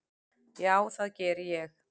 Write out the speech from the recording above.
Já, það geri ég.